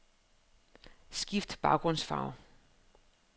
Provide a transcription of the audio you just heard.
Skift baggrundsfarve.